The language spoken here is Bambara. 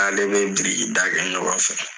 Ale bɛ birikida kɛ ɲɔgɔn fɛ.